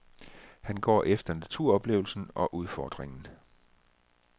Han går efter naturoplevelsen og udfordringen.